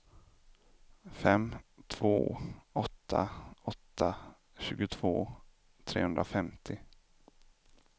fem två åtta åtta tjugotvå trehundrafemtio